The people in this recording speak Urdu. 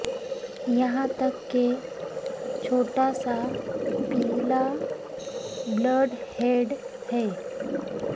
یہاں تک کہ چھوٹا سا پیلا بلڈ ہیڈ ہے